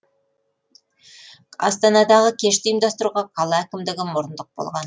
астанадағы кешті ұйымдастыруға қала әкімдігі мұрындық болған